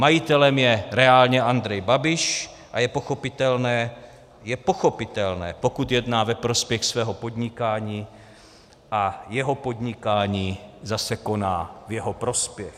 Majitelem je reálně Andrej Babiš a je pochopitelné - je pochopitelné, pokud jedná ve prospěch svého podnikání a jeho podnikání zase koná v jeho prospěch.